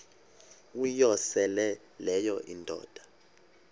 uyosele leyo indoda